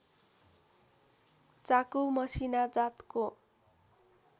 चाकु मसिना जातको